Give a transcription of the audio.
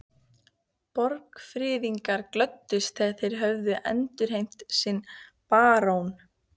Borgfirðingar glöddust þegar þeir höfðu endurheimt sinn barón.